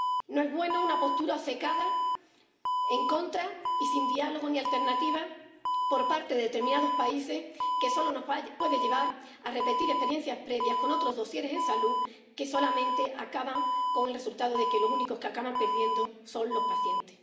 No es bueno una postura obcecada, en contra y sin diálogo ni alternativas por parte de determinados países, que solo nos puede llevar a repetir experiencias previas con otros dosieres en salud que solamente acaban con el resultado de que los únicos que acaban perdiendo son los pacientes.